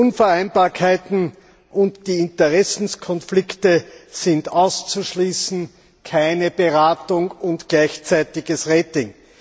Die Unvereinbarkeiten und die Interessenkonflikte sind auszuschließen keine Beratung und gleichzeitiges Rating!